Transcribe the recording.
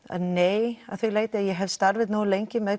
en nei að því leyti að ég hef starfað nógu lengi með